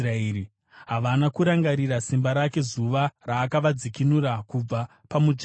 Havana kurangarira simba rake, zuva raakavadzikinura kubva pamudzvinyiriri,